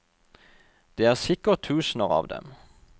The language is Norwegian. Det er sikkert tusener av dem.